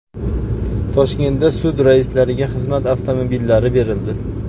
Toshkentda sud raislariga xizmat avtomobillari berildi.